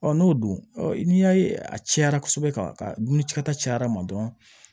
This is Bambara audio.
n'o dun n'i y'a ye a cayara kosɛbɛ ka dumunikɛta cayara ma dɔrɔn